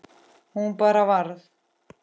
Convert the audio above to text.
Hún bara varð.